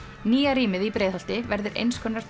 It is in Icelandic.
nýja rýmið í Breiðholti verður eins konar